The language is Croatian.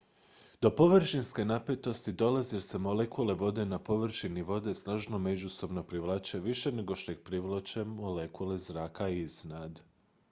do površinske napetosti dolazi jer se molekule vode na površini vode snažno međusobno privlače više nego što ih privlače molekule zraka iznad